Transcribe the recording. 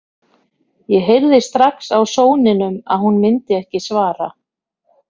Ég heyrði strax á sóninum að hún myndi ekki svara.